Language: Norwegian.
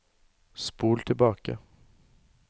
spol tilbake